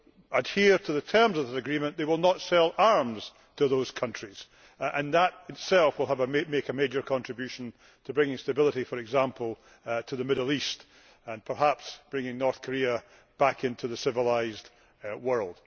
adhere to the terms of the agreement they will not sell arms to those countries and that itself will make a major contribution to bringing stability to, for example, the Middle East, and perhaps bringing North Korea back into the civilised world.